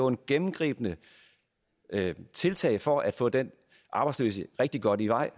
gennemgribende tiltag for at få den arbejdsløse rigtig godt i vej